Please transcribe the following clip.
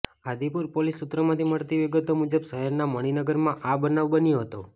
Adipur police સૂત્રોમાંથી મળતી વિગતો મુજબ શહેરના મણિનગરમાં આ બનાવ બન્યો હતો